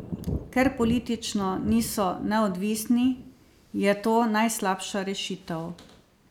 Ker politično niso neodvisni, je to najslabša rešitev.